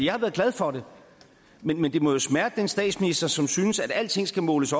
jeg har været glad for det men men det må jo smerte den statsminister som synes at alting skal måles